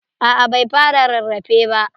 A'a bai fara rarrafe ba.